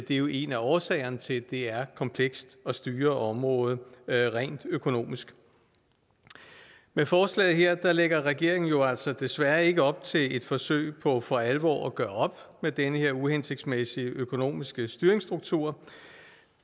er jo en af årsagerne til at det er komplekst at styre området rent økonomisk med forslaget her lægger regeringen jo altså desværre ikke op til et forsøg på for alvor at gøre op med den her uhensigtsmæssige økonomiske styringsstruktur